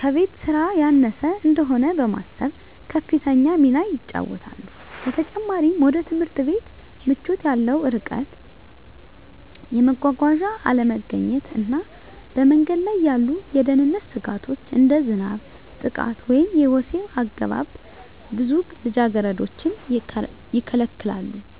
ከቤት ሥራ ያነሰ እንደሆነ በማሰብ ከፍተኛ ሚና ይጫወታሉ። በተጨማሪም፣ ወደ ትምህርት ቤት ምቾት ያለው ርቀት፣ የመጓጓዣ አለመገኘት እና በመንገድ ላይ ያሉ የደህንነት ስጋቶች (እንደ ዝናብ፣ ጥቃት ወይም የወሲብ አገባብ) ብዙ ልጃገረዶችን ይከለክላሉ።